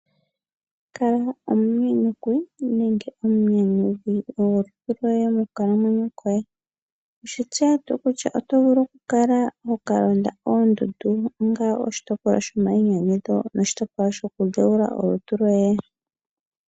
Kala omunyanyukwi nenge omunyanyudhi gwolutu lwoye mokukalamwenyo kolutu lwoye. Owe shi tseya tuu kutya oto vulu okukala hoka londa oondundu onga oshitopolwa shomayinyanyudho noshitopolwa shokudhewula olutu lwoye?